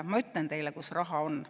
Ma ütlen teile, kus raha on.